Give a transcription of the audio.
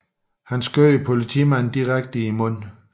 Han skød politimanden direkte i munden